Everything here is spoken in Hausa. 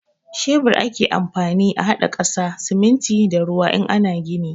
Shebur ake amfani a haɗa ƙasa, siminti da ruwa in ana gini.